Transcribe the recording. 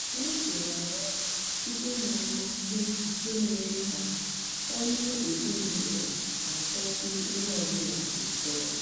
anyị kewara ọrụ site na mmasị nke mere ka ọlụ ezinụlọ n'atọkwu onye ọ bụla ụtọ.